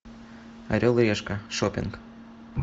орел и решка шоппинг